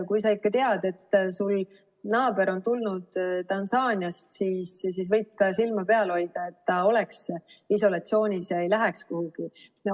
Kui sa ikka tead, et sul naaber on tulnud Tansaaniast, siis võid ka silma peal hoida, et ta oleks isolatsioonis ega läheks kuhugi.